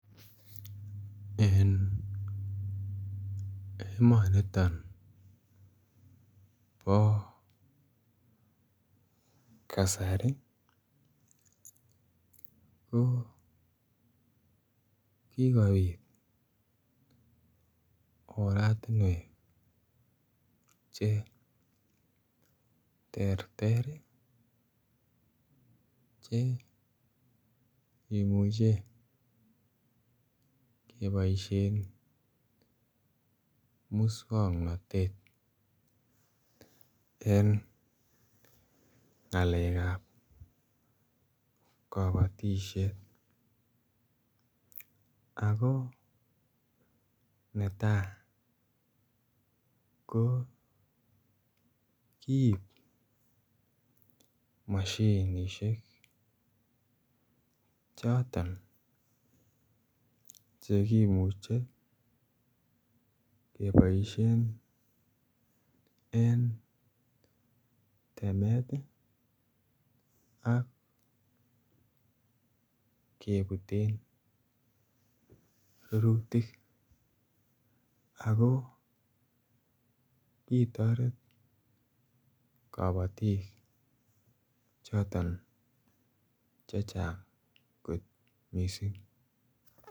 En emoniton bo Kasari ko kikopit oratinwek che terter che imuche keboishen muswongnotet en ngalekab kobotishet ako netaa ko kiib moshinishek choton che kimuche keboishen en temet ak kebuten rurutik ako kitoret kobotik choton chechang kot missing